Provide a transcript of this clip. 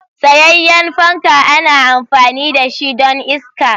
Tsayayyen fanka ana amfani da shi don iska.